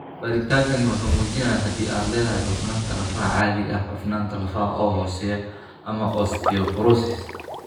Baaritaankaani wuxuu muujinayaa haddii aad leedahay cufnaanta lafaha caadiga ah, cufnaanta lafaha oo hooseeya, ama osteoporosis.